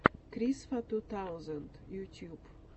крисфа ту таузенд ютьюб